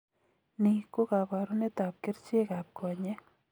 Nii ko kabarunet ab kercheek ab konyeek